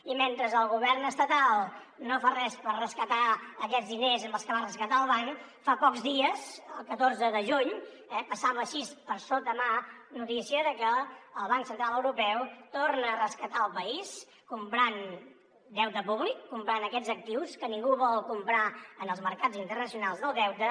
i mentre el govern estatal no fa res per rescatar aquests diners amb els que va rescatar el banc fa pocs dies el catorze de juny eh passava així de sotamà la notícia que el banc central europeu torna a rescatar el país comprant deute públic comprant aquests actius que ningú vol comprar en els mercats internacionals del deute